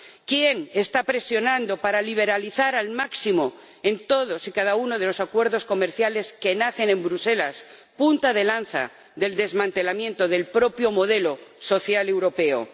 ¿Quién está presionando para liberalizar al máximo en todos y cada uno de los acuerdos comerciales que nacen en Bruselas, punta de lanza del desmantelamiento del propio modelo social europeo?